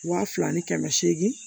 Waa fila ni kɛmɛ seegin